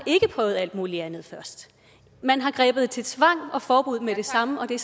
prøvet alt muligt andet først man har grebet til tvang og forbud med det samme og det